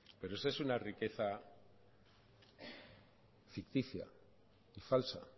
pero esa es una riqueza ficticia y falsa